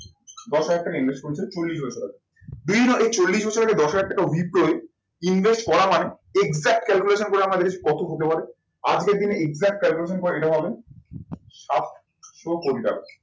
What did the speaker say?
দশ হাজার টাকা invest করেছিলেন চল্লিশ বছর আগে এই চল্লিশ বছর আগে দশ হাজার টাকা invest করা মানে exact calculation করে আমরা দেখেছি কত হতে পারে? আজকের দিনে exact calculation করে এটা হবে সাতশো কোটি টাকা।